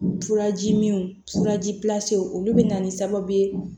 Furaji min furaji pilansiw olu bɛ na ni sababu ye